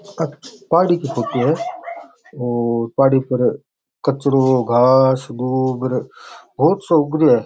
आ पहाड़ी की फोटो है और पहाड़ी पर कचरो घास गुब र बहुत सो उग रहियो है।